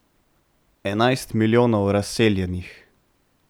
Enajst milijonov razseljenih.